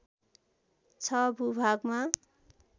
६ भूभागमा